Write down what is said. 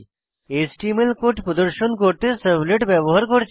HTML code প্রদর্শন করতে servlet ব্যবহার করছি